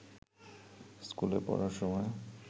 স্কুলে পড়ার সময়